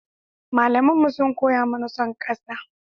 Malamanmu sun koya mana son ƙasa.